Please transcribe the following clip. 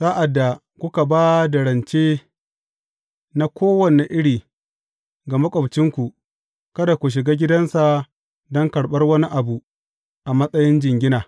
Sa’ad da kuka ba da rance na kowane iri ga maƙwabcinku, kada ku shiga gidansa don karɓar wani abu a matsayin jingina.